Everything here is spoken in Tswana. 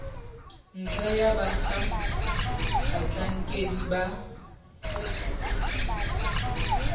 ntlha ya fa batlhankedi ba